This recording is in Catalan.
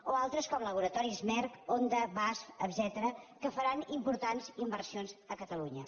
o altres com laboratoris merck honda baas etcètera que faran importants inversions a catalunya